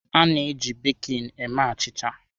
A-na eji bekịn eme achịcha.